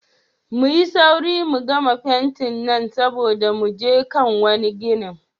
Muyi saure mu gama fentin nan saboda mu je kan wane gine.